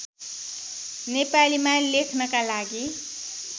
नेपालीमा लेख्नका लागि